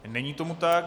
Není tomu tak.